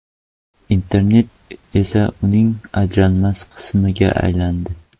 Internet esa uning ajralmas qismiga aylandi.